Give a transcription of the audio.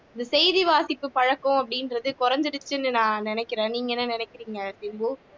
இந்த செய்தி வாசிப்பு பழக்கம் அப்படின்றது குறைஞ்சிருச்சுன்னு நான் நினைக்கிறேன் நீங்க என்ன நினைக்கிறீங்க சிம்பு